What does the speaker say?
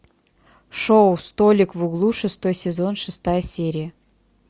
шоу столик в углу шестой сезон шестая серия